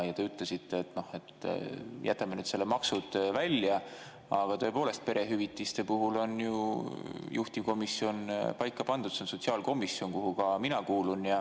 Jätame nüüd maksud välja, aga tõepoolest, perehüvitiste puhul on ju juhtivkomisjon paika pandud, see on sotsiaalkomisjon, kuhu ka mina kuulun.